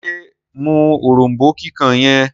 ṣe mú òrombó kíkàn yen?